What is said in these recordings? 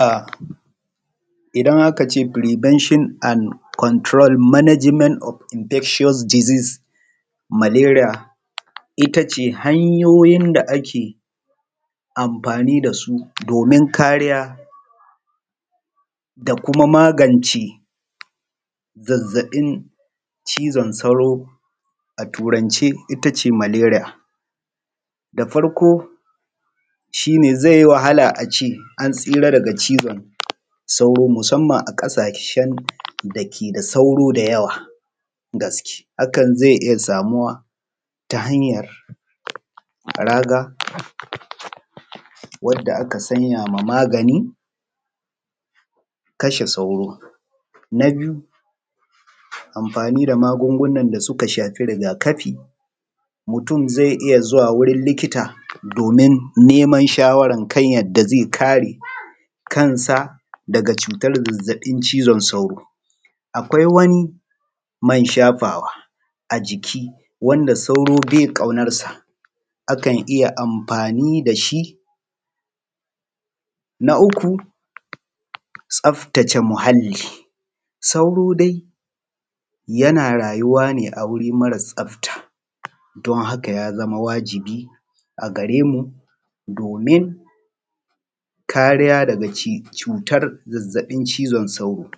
A idan aka ce firibenshon and konturol manajment of inbestiyos dizis maleriya, ita ce hanyoyin da ake amfani da su domin kariya da kuma magance zazzafin cizon sauro a Turance ita ce maleriya. Da farko shi ne ze yi wahala a ce an tsira daga cizon sauro musamman a ƙasahsen dake da sauro da yawan gaskiya hakan ze iya samuwa ta hanyan raga wanda aka sanya ma magani, kashe sauro. Na biyu amfani da magungunan da suka shafi rigakafi mutum ze iya zuwa wurin likita domin niman shawarar da ze yi amfani da shi kan sa daga zazzafin cutan cizon sauro akwai wani man shafawa a jiki wanda sauro be ƙaunan sa akan iya amfani da shi. Na uku tsaftace muhalli, sauro yana rayuwa ne a wuri ne mara tsafta don haka ya zama wajibi a gare mu domin kariya daga cuta zazzabin cizon sauro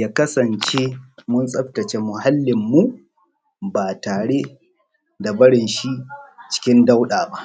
ya kasance mun tsaftace muhallinmu ba tare da barin shi cikin dauɗa ba.